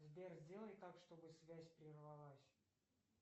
сбер сделай так чтобы связь прервалась